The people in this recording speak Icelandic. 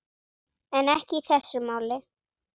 En ekki í þessu máli.